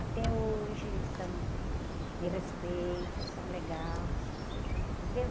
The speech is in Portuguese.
Até hoje, eles são, me respeitam, são legais, entendeu?